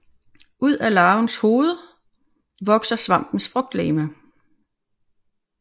Ud af larvens hoved vokser svampens frugtlegeme